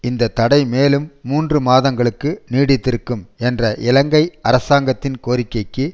இந்த தடை மேலும் மூன்று மாதங்களுக்கு நீடித்திருக்கும் என்ற இலங்கை அரசாங்கத்தின் கோரிக்கைக்கு